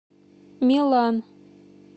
милан